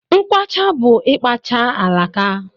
Nkwacha bụ ịkpacha alaka.